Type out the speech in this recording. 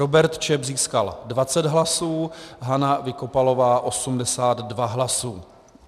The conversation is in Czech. Robert Čep získal 20 hlasů, Hana Vykopalová 82 hlasy.